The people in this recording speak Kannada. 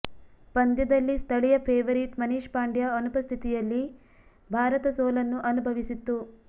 ಪಂದ್ಯದಲ್ಲಿ ಸ್ಥಳೀಯ ಫೇವರಿಟ್ ಮನೀಶ್ ಪಾಂಡ್ಯ ಅನುಪಸ್ಥಿತಿಯಲ್ಲಿ ಭಾರತ ಸೋಲನ್ನು ಅನುಭವಿಸಿತ್ತು